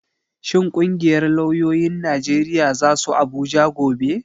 Shin ƙungiyar lauyoyin Najeriya za su Abuja gobe?